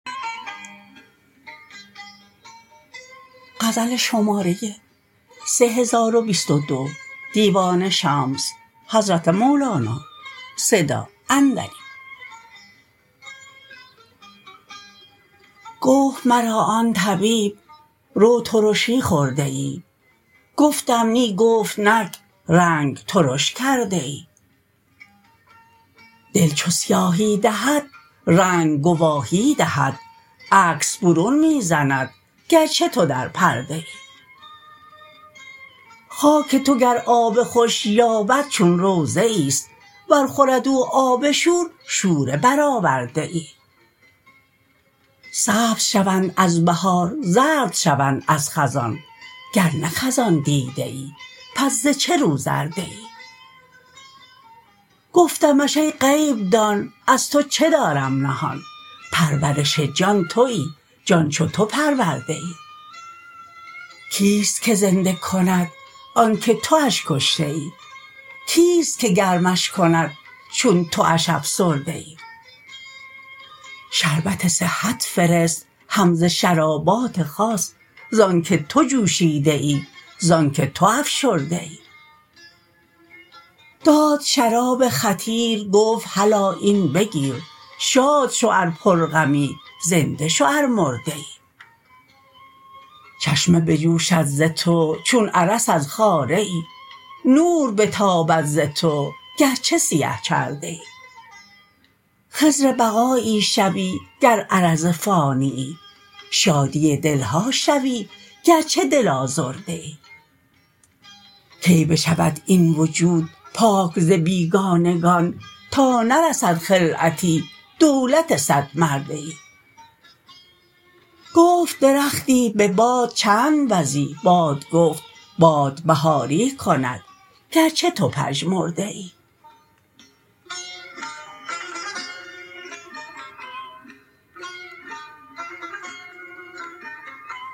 گفت مرا آن طبیب رو ترشی خورده ای گفتم نی گفت نک رنگ ترش کرده ای دل چو سیاهی دهد رنگ گواهی دهد عکس برون می زند گرچه تو در پرده ای خاک تو گر آب خوش یابد چون روضه ایست ور خورد او آب شور شوره برآورده ای سبز شوند از بهار زرد شوند از خزان گر نه خزان دیده ای پس ز چه رو زرده ای گفتمش ای غیب دان از تو چه دارم نهان پرورش جان تویی جان چو تو پرورده ای کیست که زنده کند آن که تو اش کشته ای کیست که گرمش کند چون تو اش افسرده ای شربت صحت فرست هم ز شرابات خاص زانک تو جوشیده ای زانک تو افشرده ای داد شراب خطیر گفت هلا این بگیر شاد شو ار پرغمی زنده شو ار مرده ای چشمه بجوشد ز تو چون ارس از خاره ای نور بتابد ز تو گرچه سیه چرده ای خضربقایی شوی گر عرض فانیی شادی دل ها شوی گرچه دل آزرده ای کی بشود این وجود پاک ز بیگانگان تا نرسد خلعتی دولت صدمرده ای گفت درختی به باد چند وزی باد گفت باد بهاری کند گرچه تو پژمرده ای